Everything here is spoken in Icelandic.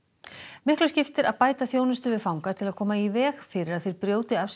miklu skiptir að bæta þjónustu við fanga til að koma í veg fyrir að þeir brjóti af sér